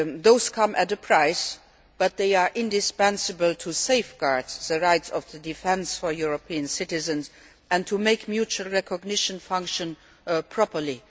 Those come at a price but they are indispensable to safeguarding the rights of the defence for European citizens and also to making mutual recognition function properly.